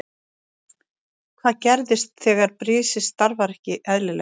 Hvað gerist þegar brisið starfar ekki eðlilega?